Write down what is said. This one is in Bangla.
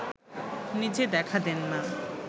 নিজে দেখা দেন না